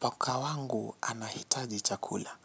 Paka wangu anahitaji chakula,